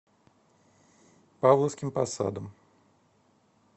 павловским посадом